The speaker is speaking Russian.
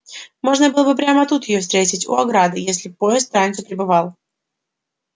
можно было бы прямо тут её встретить у ограды если б поезд пораньше прибывал